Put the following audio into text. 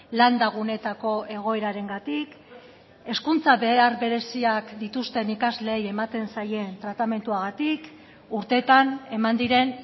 landa guneetako egoerarengatik hezkuntza behar bereziak dituzten ikasleei ematen zaien tratamenduagatik urteetan eman diren